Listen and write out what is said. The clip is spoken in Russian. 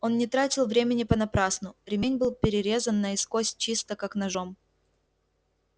он не тратил времени понапрасну ремень был перерезан наискось чисто как ножом